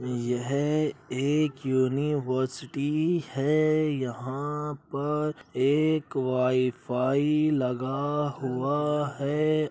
यह एक युनिवर्सिटी है। यहाँ पर एक वाई-फाई लगा हुआ है।